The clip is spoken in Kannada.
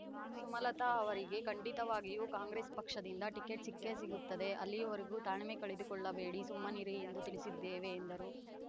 ಸುಮಲತಾ ಅವರಿಗೆ ಖಂಡಿತವಾಗಿಯೂ ಕಾಂಗ್ರೆಸ್ ಪಕ್ಷದಿಂದ ಟಿಕೆಟ್ ಸಿಕ್ಕೇ ಸಿಗುತ್ತದೆ ಅಲ್ಲಿಯವರೆಗೂ ತಾಳ್ಮೆ ಕಳೆದುಕೊಳ್ಳಬೇಡಿ ಸುಮ್ಮನಿರಿ ಎಂದು ತಿಳಿಸಿದ್ದೇವೆ ಎಂದರು